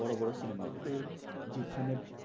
বড়ো বড়ো cinema গুলো হম যেখানে